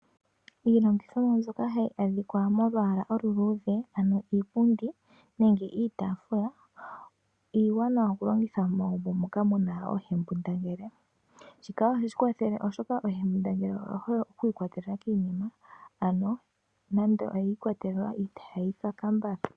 Iilandithomwa mbyoka hayi adhika molwaala oluluudhe ano iipundi nenge iitaafula iiwanawa okulongitha megumbo moka muna uunona ,shika ohashi kawathele oshoka uunona owuhole oku ikwatelela kiinima ano nando oyi ikwatelela itaya kaka mbala.